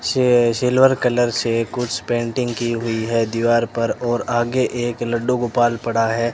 स्या silver colour से कुछ पेंटिंग की हुई है दीवार पर और आगे एक लड्डू गोपाल पड़ा है।